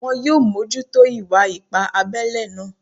Wọn yóò mójútó ìwà ipá abẹ́lẹ́ náà